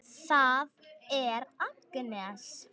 Það er Agnes.